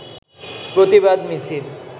প্রতিবাদ মিছিল